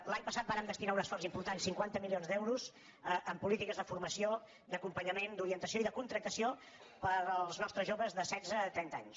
l’any passat vàrem destinar un esforç important cinquanta milions d’euros en polítiques de formació d’acompanyament d’orientació i de contractació per als nostres joves de setze a trenta anys